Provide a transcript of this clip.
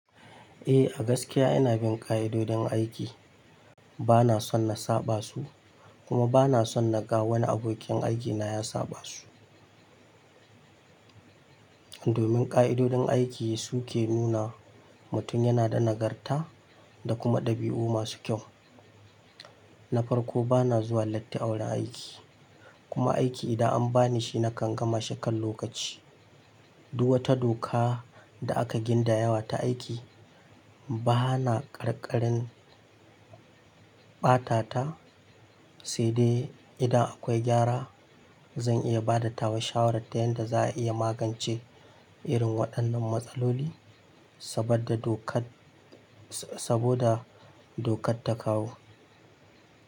Eh, a gaskiya ina bin ƙa'idodin aiki. Bana son na saba su, kuma bana son na ga wani abokin aikina ya saba su. Domin ƙa'idodin aiki su ke nuna mutum yana da nagarta da kuma ɗabi'u masu kyau. Na farko bana zuwa latti a wurin aiki, kuma aiki idan an ba ni shi nakan gama shi kan lokaci. Duk wata doka da aka ginda yawa ta aiki bana ƙarƙarin ɓata ta, sai dai idan akwai gyara zan iya bada tawa shawarar ta yanda za a iya magance irin waɗannan matsaloli saboda dokar ta kawo.